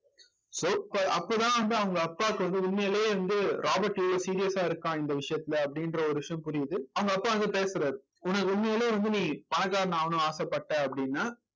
so அப்ப அப்பதான் வந்து அவங்க அப்பாவுக்கு வந்து உண்மையிலே வந்து ராபர்ட் இவ்ளோ serious ஆ இருக்கான் இந்த விஷயத்துல அப்படின்ற ஒரு விஷயம் புரியுது அவங்க அப்பா வந்து பேசறாரு உனக்கு உண்மையிலேயே வந்து நீ பணக்காரன் ஆகணும்ன்னு ஆசைப்பட்ட அப்படின்னா